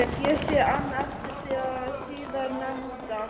Ég sé enn eftir því síðar nefnda.